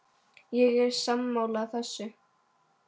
Ég er sammála þessu.